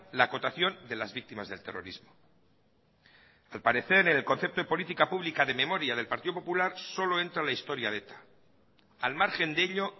la acotación de las víctimas del terrorismo al parecer en el concepto de política pública de memoria del partido popular solo entra la historia de eta al margen de ello